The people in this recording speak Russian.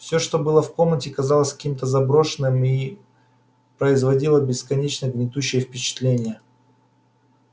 всё что было в комнате казалось каким-то заброшенным и производило бесконечно гнетущее впечатление